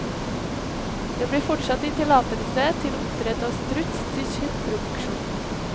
Det blir fortsatt gitt tillatelse til oppdrett av struts til kjøttproduksjon.